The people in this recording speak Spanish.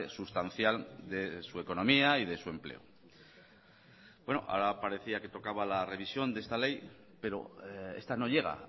sustancial de su economía y de su empleo ahora parecía que tocaba la revisión de esta ley pero esta no llega